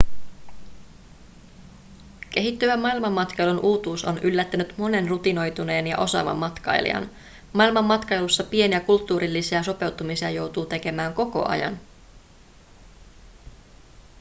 kehittyvän maailmanmatkailun uutuus on yllättänyt monen rutinoituneen ja osaavan matkailijan maailmanmatkailussa pieniä kulttuurillisia sopeutumisia joutuu tekemään koko ajan